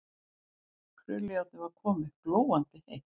Krullujárnið var komið, glóandi heitt.